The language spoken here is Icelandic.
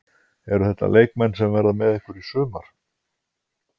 Eru þetta leikmenn sem verða með ykkur í sumar?